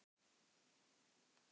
Hún lítur á hann mædd á svip.